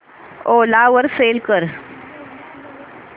ओला वर सेल कर